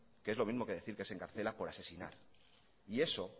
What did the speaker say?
que es lo mismo que decir que se encarcela por asesinar y eso